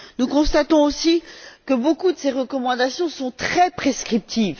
Nous constatons aussi que beaucoup de ces recommandations sont très prescriptives.